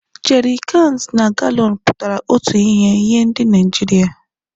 Jerikans na galọns pụtara otu ihe nye ndị Naijiria